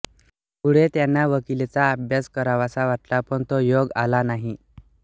पुढे त्यांना वकिलीचा अभ्यास करावासा वाटला पण तो योग आला नाही